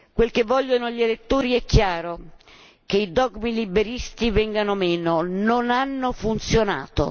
Quel che vogliono gli elettori è chiaro che i dogmi liberisti vengano meno, non hanno funzionato.